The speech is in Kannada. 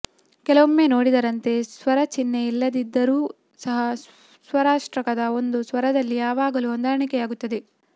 ಕೆಲವೊಮ್ಮೆ ನೋಡಿದಂತೆ ಸ್ವರಚಿಹ್ನೆ ಇಲ್ಲದಿದ್ದರೂ ಸಹ ಸ್ವರಾಷ್ಟಕದ ಒಂದು ಸ್ವರದಲ್ಲಿ ಯಾವಾಗಲೂ ಹೊಂದಾಣಿಕೆಯಾಗುತ್ತದೆ